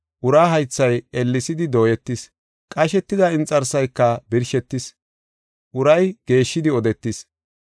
Uraa haythay ellesidi dooyetis, qashetida inxarsayka birshetis, uray geeshshidi odetis.